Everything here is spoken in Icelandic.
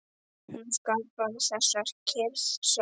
Hún skapar þessa kyrrð sjálf.